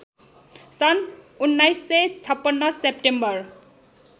सन् १९५६ सेप्टेम्बर